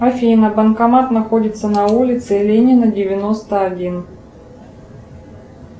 афина банкомат находится на улице ленина девяносто один